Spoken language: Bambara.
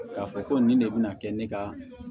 K'a fɔ ko nin de bɛna kɛ ne ka